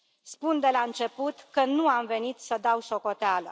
Spun de la început că nu am venit să dau socoteală.